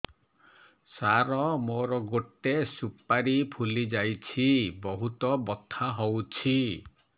ସାର ମୋର ଗୋଟେ ସୁପାରୀ ଫୁଲିଯାଇଛି ବହୁତ ବଥା ହଉଛି